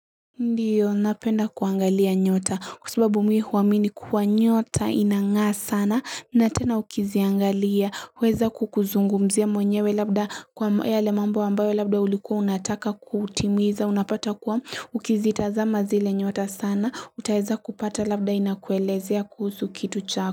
Ndiyo, napenda kuangalia nyota, kwa sababu mimi huamini kuwa nyota inang'aa sana, na tena ukiziangalia, huweza kukuzungumzia mwenyewe labda kwa yale mambo ambayo labda ulikuwa unataka kutimiza, unapata kuwa ukizitazama zile nyota sana, utaweza kupata labda inakuelezea kuhusu kitu chako.